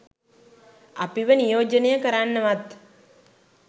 අපිව නියෝජනය කරන්නවත්